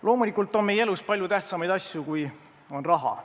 Loomulikult on meie elus palju tähtsamaid asju, kui on raha.